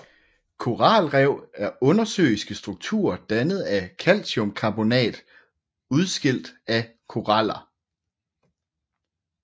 Koralrev er undersøiske strukturer dannet af kalciumkarbonat udskilt af koraller